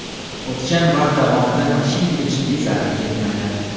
O‘tgan vaqt davomida mashinaga jiddiy zarar yetmagan.